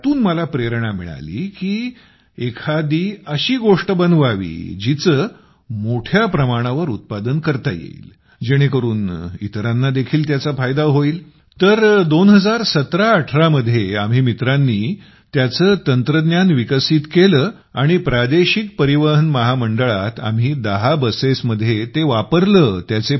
तर त्यातून मला प्रेरणा मिळाली कि एखादी अशी गोष्ट बनवावी जिचे मोठ्या प्रमाणावर उत्पादन करता येईल जेणेकरून इतरांनादेखील त्याचा फायदा होईल तर 201718 मध्ये आम्ही मित्रांनी त्याचे तंत्रज्ञान विकसित केलं आणि प्रादेशिक परिवहन महामंडळात आम्ही 10 बसेस मध्ये ते वापरलं